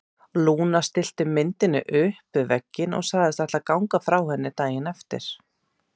Lúna stillti myndinni upp við vegginn og sagðist ætla að ganga frá henni daginn eftir.